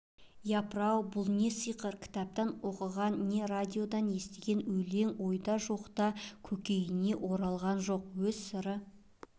япыр-ау бұл не сиқыр кітаптан оқыған не радиодан естіген өлең ойда жоқта көкейіне оралған жоқ өз сыры